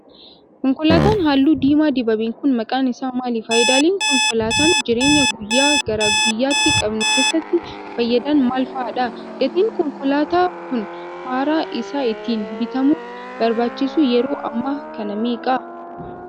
Konkolaataan haalluu diimaa dibame kun, maqaan isaa maali? Faayidaalee konkolaataan jireeny guyyaa gara guyyaatti qabnu keessatti fayyadan maal faadha? Gatiin konkolaataa kun haaraa isaa ittiin bitamuuf barbaachisu yeroo ammaa kana meeqa?